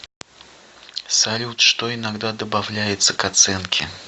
салют что иногда добавляется к оценке